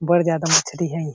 बड़ जादा मछरी हे।